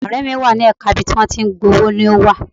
Ọ̀rẹ́ mi wà ní ẹ̀ka ibi tí wọ́n ti ń gba owó ni ó wà.